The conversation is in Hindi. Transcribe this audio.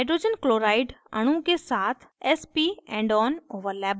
hydrogen chloride hcl अणु के साथ sp endon overlap बनायें